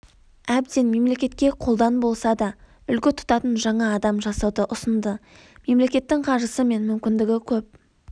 әбден мемлекетке қолдан болса да үлгі тұтатын жаңа адам жасауды ұсынды мемлекеттің қаржысы мен мүмкіндігі көп